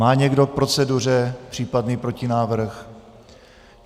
Má někdo k proceduře případný protinávrh?